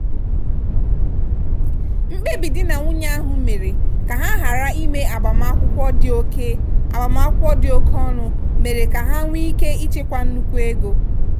mkpebi di na nwunye ahụ mere ka ha ghara ime agbamakwụkwọ dị oke agbamakwụkwọ dị oke ọnụ mere ka ha nwee ike ịchekwa nnukwu ego.